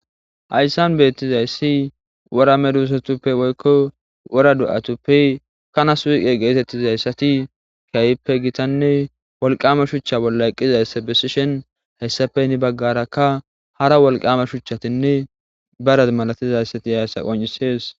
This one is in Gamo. Hayssan beettizayssi wora medisatappe woykko wora do'atuppe kana suyiqe geetettizayti keehippe gitanne wolqama shuchca bolla eqqidi dizayssa bessishin hayssappe heni baggara hara shuchchatinne bare masatizayssi dizayssa qonccises.